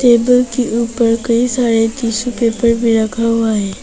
Table के ऊपर कई सारे टिशू पेपर रखा हुआ है।